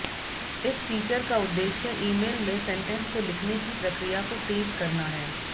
इस फीचर का उद्देश्य ईमेल में सेंटेंस को लिखने की प्रक्रिया को तेज करना है